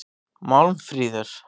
Málmfríður